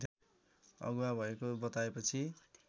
अगुवा भएको बताएपछि